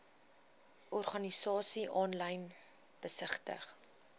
organisasies aanlyn besigtig